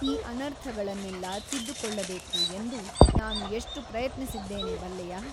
ಈ ಅನರ್ಥಗಳನ್ನೆಲ್ಲ ತಿದ್ದುಕೊಳ್ಳಬೇಕು ಎಂದು ನಾನು ಎಷ್ಟು ಪ್ರಯತ್ನಿಸಿದ್ದೇನೆ ಬಲ್ಲೆಯಾ ?